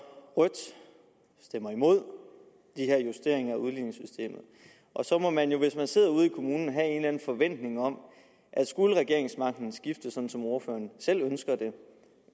rødt stemmer imod de her justeringer af udligningssystemet så må man jo hvis man sidder ude i kommunerne have en eller anden forventning om at skulle regeringsmagten skifte sådan som ordføreren selv ønsker det